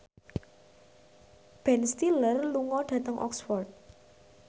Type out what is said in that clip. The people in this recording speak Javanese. Ben Stiller lunga dhateng Oxford